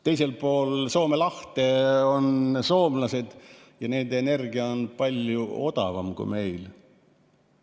Teisel pool Soome lahte on soomlased ja nende energia on palju odavam kui meil.